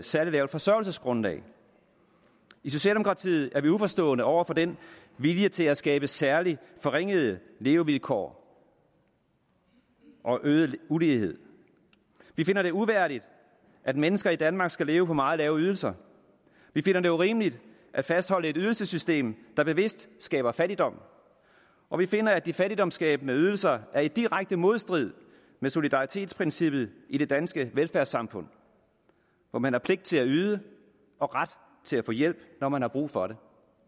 særlig lavt forsørgelsesgrundlag i socialdemokratiet er vi uforstående over for den vilje til at skabe særlig forringede levevilkår og øget ulighed vi finder det uværdigt at mennesker i danmark skal leve på meget lave ydelser vi finder det urimeligt at fastholde et ydelsessystem der bevidst skaber fattigdom og vi finder at de fattigdomsskabende ydelser er i direkte modstrid med solidaritetsprincippet i det danske velfærdssamfund hvor man har pligt til at yde og ret til at få hjælp når man har brug for det